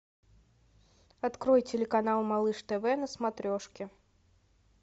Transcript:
открой телеканал малыш тв на смотрешке